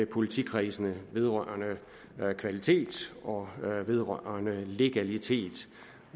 politikredsene vedrørende kvalitet og vedrørende legalitet